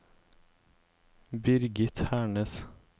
Birgit Hernes